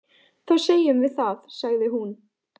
Þá segjum við það, sagði hún.